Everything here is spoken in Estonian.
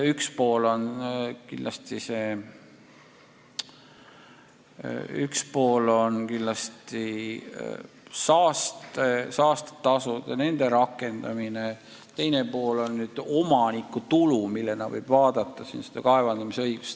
Üks on kindlasti saastetasud ja nende rakendamine, teine aga omanikutulu, millena võib vaadata ka kaevandamisõigust.